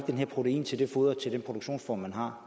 de her proteiner til det foder til den produktionsform man har